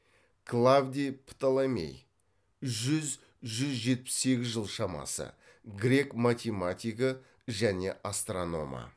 клавдий птоломей грек математигі және астрономы